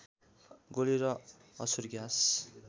गोली र अश्रुग्यास